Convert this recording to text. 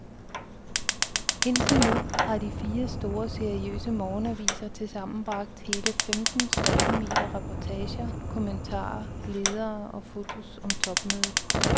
Indtil nu har de fire store, seriøse morgenaviser til sammen bragt hele femten spaltemeter reportager, kommentarer, ledere og fotos om topmødet.